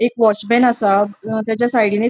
एक वॉचमन असा तचा साइडीन एक --